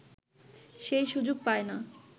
সেই সুযোগ পায় না